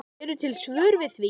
Eru til svör við því?